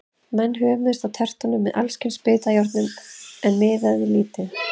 Menn hömuðust á tertunum með alls kyns bitjárnum, en miðaði lítið.